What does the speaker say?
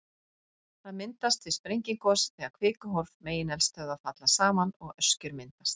Það myndast við sprengigos, þegar kvikuhólf megineldstöðva falla saman og öskjur myndast.